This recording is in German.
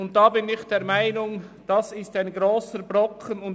Ich bin der Meinung, dass dies ein grosser Brocken ist.